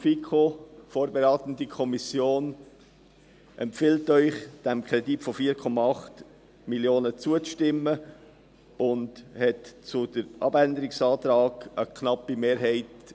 Die FiKo – die vorberatende Kommission – empfiehlt Ihnen, dem Kredit von 4,8 Mio. Franken zuzustimmen, und hat zu den Abänderungsanträgen eine knappe Mehrheit.